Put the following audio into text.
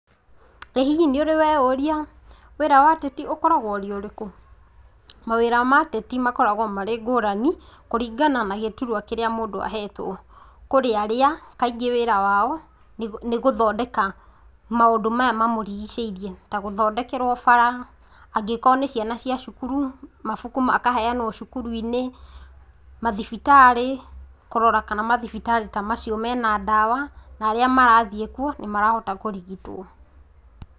Ĩĩ hihi nĩ ũrĩ weũria wĩra wa ateti ũkoragwo ũrĩ ũrĩkũ? Mawĩra ma ateti makoragwo marĩ ngũrani, kũringana na gĩturwa kĩrĩa mũndũ ahetwo, kũrĩ arĩa kaingĩ wĩra wao nĩ gũthondeka maũndũ maya mamũrĩgicĩrie ta gũthondekerwa bara, angĩkorwo nĩ ciana cia cukuru, mabuku makaheanwo cukuruinĩ, mathibitarĩ, kũrora kana mathibitarĩ ta macio mena ndawa na arĩa mathiĩ kuo nĩ marahota kũrigitwo.